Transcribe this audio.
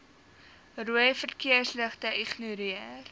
rooi verkeersligte ignoreer